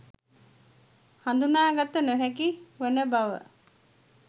හඳුනා ගත නොහැකි වන බව